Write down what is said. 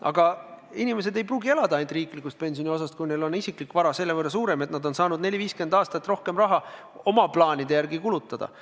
Aga inimesed ei pruugi elada ainult riiklikust pensioniosast, kui neil on isiklik vara selle võrra suurem, et nad on saanud 40–50 aastat rohkem raha oma soovide järgi kulutada.